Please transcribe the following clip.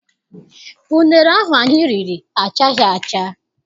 Unere ahụ anyị riri achaghị acha.